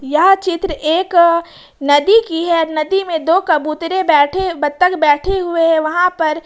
यह चित्र एक नदी की है नदी में दो कबूतरे बैठे बत्तख बैठे हुए हैं वहां पर--